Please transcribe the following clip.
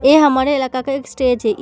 ए हमारे इलाका का एक स्टेज है।